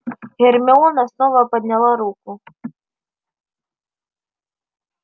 гермиона снова подняла руку